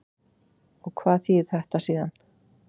Og hvað þýðir þetta síðan?